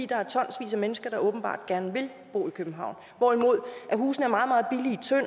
der er tonsvis af mennesker der åbenbart gerne vil bo i københavn hvorimod husene